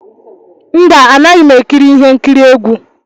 Mba, anaghị m ekiri ihe nkiri egwu.